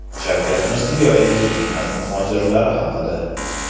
Shavkat Mirziyoyev mehnat muhojirlari haqida.